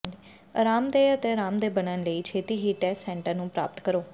ਅਰਾਮਦੇਹ ਅਤੇ ਅਰਾਮਦੇਹ ਬਣਨ ਲਈ ਛੇਤੀ ਹੀ ਟੈਸਟ ਸੈਂਟਰ ਨੂੰ ਪ੍ਰਾਪਤ ਕਰੋ